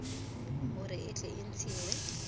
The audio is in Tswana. gore e tle e ntshiwe